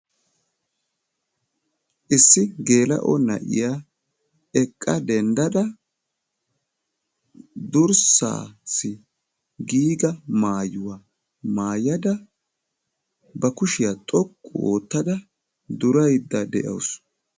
Issi geela'o na'iya eqqa denddada, durssaassi giiga maayuwa maayada, ba kushiya xoqqu oottada duraydda de'awusu.